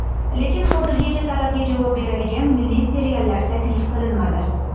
Lekin hozircha talabga javob beradigan milliy seriallar taklif qilinmadi.